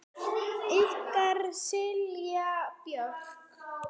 Ykkar Silja Björk.